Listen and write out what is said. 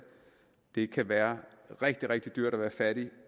det kan være rigtig rigtig dyrt at være fattig